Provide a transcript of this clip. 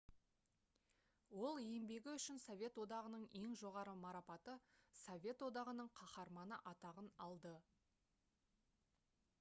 ол еңбегі үшін совет одағының ең жоғары марапаты «совет одағының қаһарманы» атағын алды